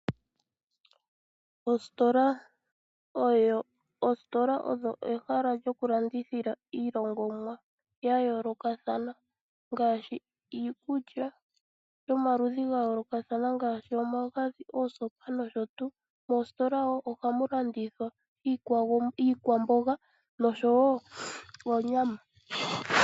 Oositola odho ehala lyokulandithila iilongomwa ya yoolokathana ngaashi iikulya yomaludhi ga yoolokathana ngaashi omagadhi, oosopa nosho tuu. Moositola wo ohamu landithwa iikwamboga nosho wo oonyama.